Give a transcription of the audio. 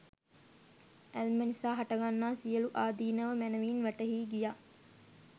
ඇල්ම නිසා හටගන්නා සියළු ආදීනව මැනැවින් වැටහී ගියා